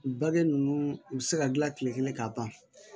Bakɛ ninnu u bɛ se ka dilan tile kelen ka ban